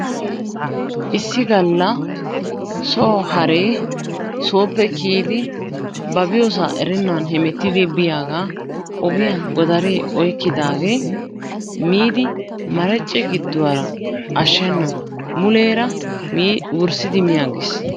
Issi galla so haree sooppe kiyidi ba biyoosaa erennan heemmetidi biyaagaa ogiyaan godaree oyqqidaagee miidi maracce gidduwaara ashshenan muleera wurssiidi mi aggiis.